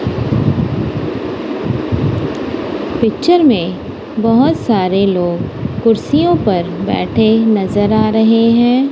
Picture में बहोत सारे लोग कुर्सियों पर बैठे नजर आ रहे हैं।